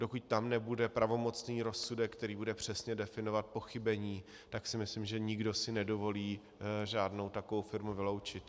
Dokud tam nebude pravomocný rozsudek, který bude přesně definovat pochybení, tak si myslím, že si nikdo nedovolí žádnou takovou firmu vyloučit.